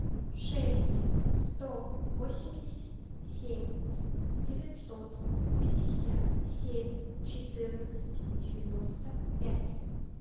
шесть сто восемьдесят семь девятьсот пятьдесят семь четырнадцать девяносто пять